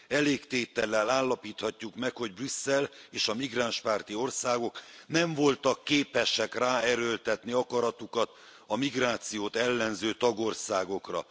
Elégtétellel állapíthatjuk meg, hogy Brüsszel és a migránspárti országok nem voltak képesek ráerőltetni akaratukat a migrációt ellenző tagországokra.